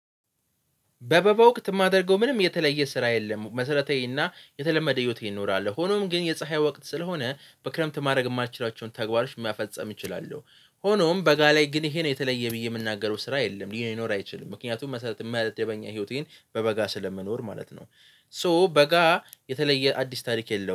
በበጋ ወቅት የማደርገው ምንም የተለየ ስራ የለም። መሰረታዊና የተለመደ ህይወቴ እኖራል ሆኖም ግን የፀሀይ ወቅት ስለሆነ በክረምት ማድረግ የማልችላቸውን ተግባሮች የመፈጽም እችላለሁ። ሆኖም በጋ ላይ ግን ይሄ ነው የተለየ ብዬ የምናገረው ስራ የለም ሊኖር አይችልም። ምክንያቱም መሰረት መደበኛ ህይወቴን በበጋ ስለመኖር ማለት ነው። ሶ በጋ የተለየ አዲስ ታሪክ የለውም